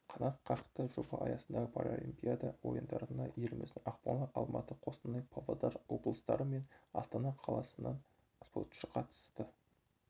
қанат қақты жоба аясындағы паралимпиада ойындарына еліміздің ақмола алматы қостанай павлодар облыстары мен астана қаласынан спортшы қатысты